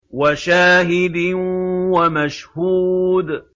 وَشَاهِدٍ وَمَشْهُودٍ